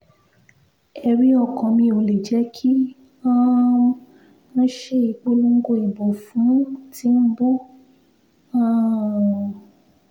ẹ̀rí ọkàn mi ò lè jẹ́ kí um n ṣe ìpolongo ìbò fún tìǹbù um